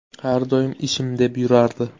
Har doim ishim deb yurardi.